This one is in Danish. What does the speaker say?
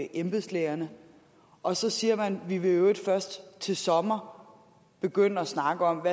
embedslægerne og så siger man vi vil i øvrigt først til sommer begynde at snakke om